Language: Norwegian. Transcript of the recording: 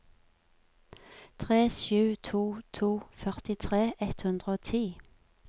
tre sju to to førtitre ett hundre og ti